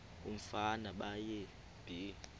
umfana baye bee